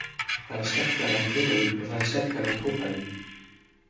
Það er sterkara en heróín og það er sterkara en kókaín.